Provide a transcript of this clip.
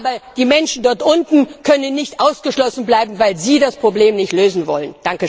Aber die Menschen dort unten dürfen nicht ausgeschlossen bleiben, weil Sie das Problem nicht lösen wollen.